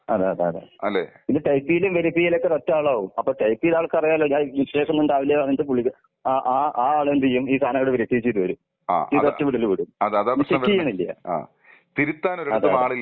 അതെ അതെ അതെ. ഇത് ടൈപ്പ് യ്യലും വെരിഫൈ യ്യലും ഒക്കെ ഒരൊറ്റ ആളുള്ളൂ. അപ്പോ ഇത് ടൈപ്പ്യ്താൾക്ക് അറിയാലോ ഞാൻ മിസ്റ്റേക്ക് ഒന്നും ഇണ്ടാവില്ല എന്നിട്ട് നോട്ട്‌ ക്ലിയർ ആ ആ ആളെന്ത് ചെയ്യും ഈ സാനം അങ്ങ് വെരിഫൈ ചെയ്തു വിടും. ചെയ്ത് ഒരറ്റ വിടൽ വിടും. ഇത് ചെക്ക്യിണില്ല. അതെ അതെ